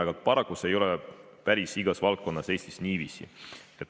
Aga paraku ei ole see päris igas valdkonnas Eestis niiviisi.